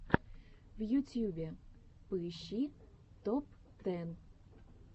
в ютьюбе поищи топ тэн